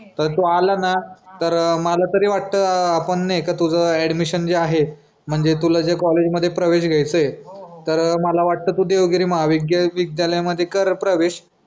पण तू आला ना तर मला तरी वाटतं आपण नाय का तुझं ऍडमिशन जे आहे म्हणजे तुला जे कॉलेज मध्ये प्रवेश घ्याचा आहे तर मला वाटतं तू मला वाटतं देवगिरी महा वी विद्यालयामध्ये कर प्रवेश.